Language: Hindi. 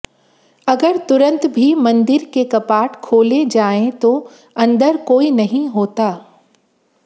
अगर तुरंत भी मंदिर के कपाट खोले जाएं तो अंदर कोई नहीं होता